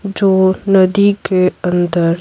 जो नदी के अंदर --